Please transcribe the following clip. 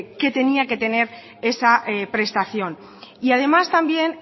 que tenía que tener esa prestación y además también